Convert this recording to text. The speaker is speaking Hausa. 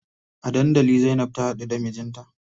A dandali Zainab ta haɗu da mijinta.